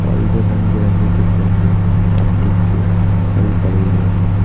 Original रंग बिरंगी कुछ गमले प्लास्टिक की खाली पड़े हुए हैं।